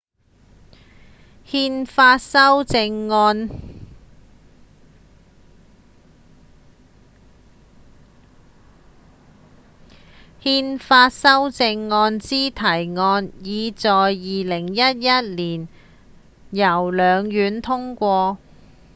憲法修正案之提案已在2011年由兩院通過